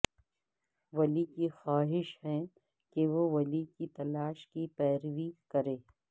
ولی کی خواہش ہے کہ وہ ولی کی تلاش کی پیروی کریں